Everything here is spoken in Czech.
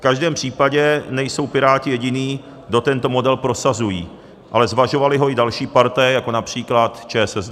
V každém případě nejsou Piráti jediní, kdo tento model prosazují, ale zvažovaly ho i další partaje, jako například ČSSD.